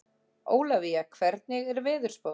Ólavía, hvernig er veðurspáin?